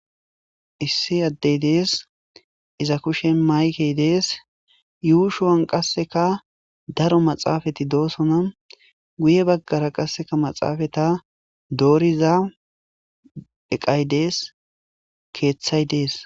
Issi addey dees iza kushen maykey dees yuu shuwan qasseka daro maxaafati doosona guye baggara qasseka maxaafata dooriza eqay dees keeththay dees.